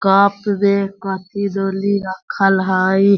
Cup में कैथी दनी रखल हय।